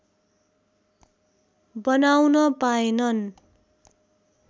बनाउन पाएनन्